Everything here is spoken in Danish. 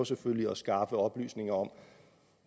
selvfølgelig at skaffe oplysninger om